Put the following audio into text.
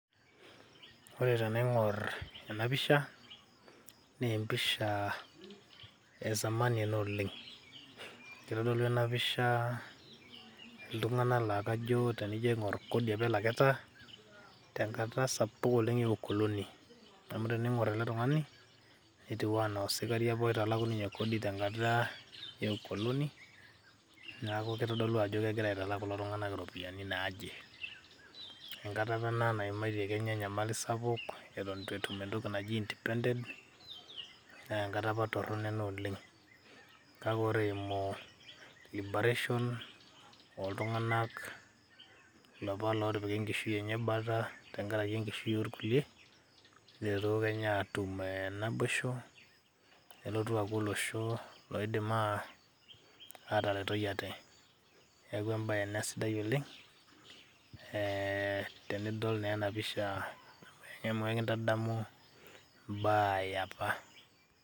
Ore tenaing'or ena pisha nee empisha e zamani ena oleng', kitodolu ena pisha iltung'anak naa kajo tenijo aing'or naa kodi apa elakita tenkata sapuk oleng' e ukoloni amu tening'or ele tung'ani netiu ena osikari apa oitalaku ninye kodi tenkata e ukoloni, neeku kitodolu ajo kegira aitalak kulo tung'anak iropiani naje. Enkata apa ena naimaitie kenya enyamali sapuk eto itu etum entoki naji independent nee enkata apa ena torono oleng' kake kore eimu libaration oltung'anak lopa laatipika enkishui enye bata tenkaraki enkishui orkulie, kietuo kenya atum naboishu nelotu aaku olosho laidim ataretoi ate. Neeku embye ena sidai oleng' tenidol naa ena pisha amu kintadamu imbaa e apa.